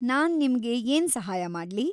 ನಾನ್ ನಿಮ್ಗೆ‌ ಏನ್ ಸಹಾಯ ಮಾಡ್ಲಿ?